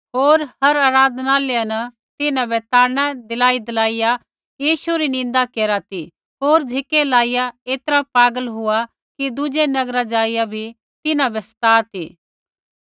होर हर आराधनालय न तिन्हां बै ताड़ना दिलाईदिलाइया यीशु री निन्दा करा ती होर झ़िकै लाइया ऐतरा पागल हुआ कि दुज़ै नगरा ज़ाइआ बी तिन्हां बै सता ती